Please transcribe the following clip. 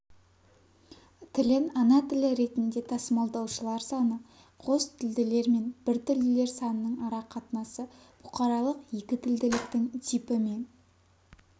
тілін ана тілі ретінде тасымалдаушылар саны қостілділер мен біртілділер санының арақатынасы бұқаралық екітілділіктің типі мен